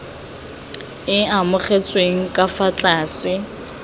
e amogetsweng ka fa tlase